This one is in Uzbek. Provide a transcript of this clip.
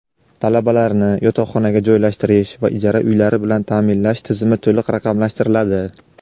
Talabalarni yotoqxonaga joylashtirish va ijara uylari bilan taʼminlash tizimi to‘liq raqamlashtiriladi.